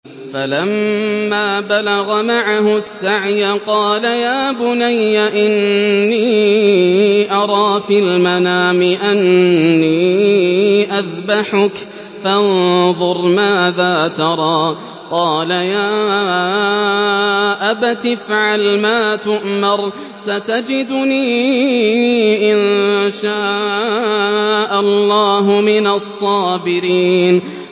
فَلَمَّا بَلَغَ مَعَهُ السَّعْيَ قَالَ يَا بُنَيَّ إِنِّي أَرَىٰ فِي الْمَنَامِ أَنِّي أَذْبَحُكَ فَانظُرْ مَاذَا تَرَىٰ ۚ قَالَ يَا أَبَتِ افْعَلْ مَا تُؤْمَرُ ۖ سَتَجِدُنِي إِن شَاءَ اللَّهُ مِنَ الصَّابِرِينَ